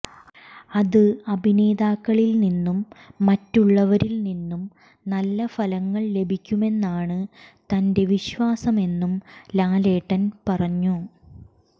അത് അഭിനേതാക്കളിൽ നിന്നും മറ്റുളളവരിൽ നിന്നും നല്ലഫലങ്ങൾ ലഭിക്കുമെന്നാണ് തന്റെ വിശ്വാസമെന്നും ലാലേട്ടൻ പറഞ്ഞു